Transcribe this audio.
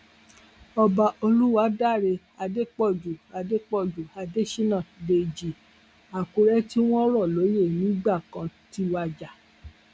ọba olùwádàrẹ adépọjù adépọjù adésínà dèjì àkùrẹ tí wọn rọ lóyè nígbà kan ti wájà